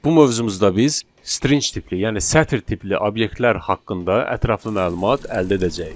Bu mövzumuzda biz string tipli, yəni sətir tipli obyektlər haqqında ətraflı məlumat əldə edəcəyik.